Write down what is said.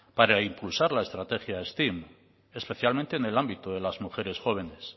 para impulsar la estrategia steam especialmente en el ámbito de las mujeres jóvenes